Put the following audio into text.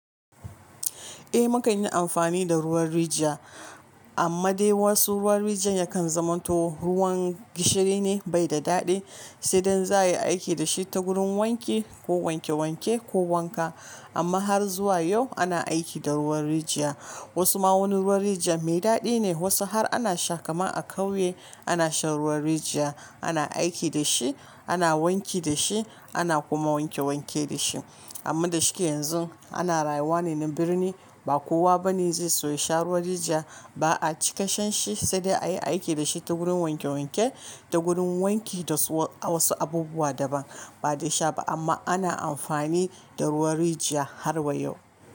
Eh mukan yi amfani da ruwan rijiya amma dai wasu ruwan rijiyar yakan zama to ruwan gishiri ne bai da daɗi sai dai za a yi aiki da shi ta wurin wanki ko wanke wanke ko wanka. Amma har zuwa yau ana aiki da ruwan rijiya. Wasu ma wani ruwan rijiya mai daɗi ne wasu har ana sha kamar a ƙauye ana shan ruwan rijiya ana aiki da shi, ana wanki da shi ana kuma wanke wanke da shi. Amma da shike yanzu ana rayuwa ne na birni ba kowa ba ne zai so ya sha ruwan rijiya ba a ci kashan shi sai dai a yi aiki da shi ta wurin wanke wanke ta gurin wanki da wasu abubuwa daban ba da sha ba amma ana amfani da ruwan rijiya har wa yau.